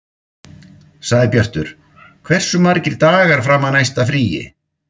Sæbjartur, hversu margir dagar fram að næsta fríi?